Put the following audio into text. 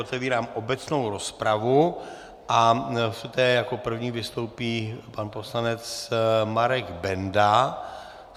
Otevírám obecnou rozpravu a v té jako první vystoupí pan poslanec Marek Benda.